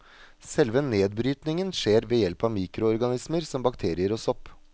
Selve nedbrytningen skjer ved hjelp av mikroorganismer som bakterier og sopp.